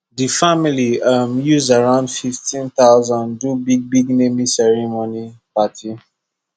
the family um use around 15000 do big big naming ceremony party